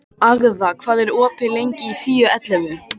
Agða, hvað er opið lengi í Tíu ellefu?